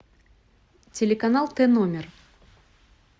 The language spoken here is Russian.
телеканал т номер